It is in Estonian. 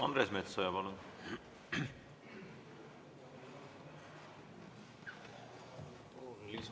Andres Metsoja, palun!